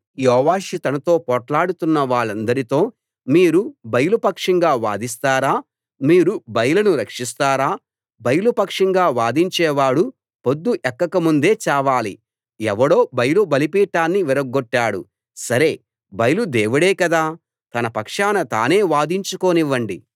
యోవాషు తనతో పోట్లాడుతున్న వాళ్ళందరితో మీరు బయలు పక్షంగా వాదిస్తారా మీరు బయలును రక్షిస్తారా బయలు పక్షంగా వాదించేవాడు పొద్దు ఎక్కక ముందే చావాలి ఎవడో బయలు బలిపీఠాన్ని విరగ్గొట్టాడు సరే బయలు దేవుడే కదా తన పక్షాన తానే వాదించుకోనివ్వండి